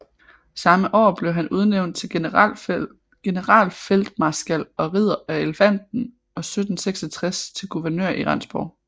Samme år blev han udnævnt til generalfeltmarskal og Ridder af Elefanten og 1766 til guvernør i Rendsborg